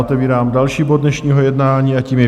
Otevírám další bod dnešního jednání a tím je